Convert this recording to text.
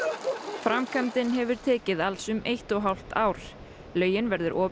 framkvæmdin hefur tekið alls eitt og hálft ár laugin verður opin